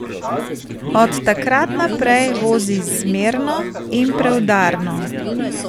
Od takrat naprej vozi zmerno in preudarno.